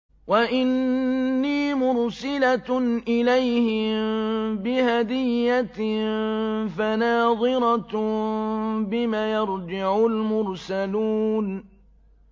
وَإِنِّي مُرْسِلَةٌ إِلَيْهِم بِهَدِيَّةٍ فَنَاظِرَةٌ بِمَ يَرْجِعُ الْمُرْسَلُونَ